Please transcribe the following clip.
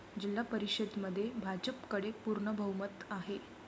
जिल्हा परिषदेमध्ये भाजपकडे पूर्ण बहुमत आहे.